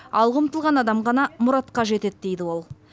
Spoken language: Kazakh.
алға ұмтылған адам ғана мұратқа жетеді дейді ол